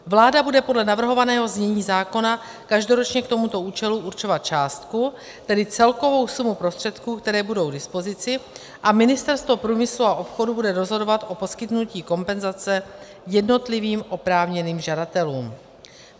Vláda bude podle navrhovaného znění zákona každoročně k tomuto účelu určovat částku, tedy celkovou sumu prostředků, které budou k dispozici, a Ministerstvo průmyslu a obchodu bude rozhodovat o poskytnutí kompenzace jednotlivým oprávněným žadatelům.